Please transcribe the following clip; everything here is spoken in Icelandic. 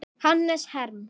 Hannes Herm.